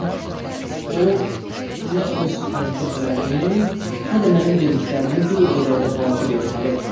Yəqin ki, o nə öz hərəkətlərini, nə də mənim dediklərimi bir o qədər də vacib hesab etmir.